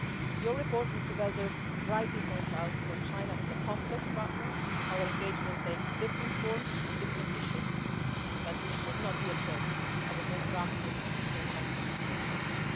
world. Your report, Mr Belder, rightly points out that China is a complex partner, and our engagement takes different forms on different issues, but we should not be afraid of a more proactive and a more confident